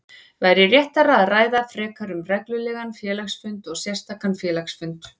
væri réttara að ræða frekar um reglulegan félagsfund og sérstakan félagsfund.